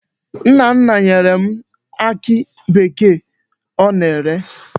Nna nna nyere m akị bekee ọ na-ere.